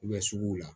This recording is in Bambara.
suguw la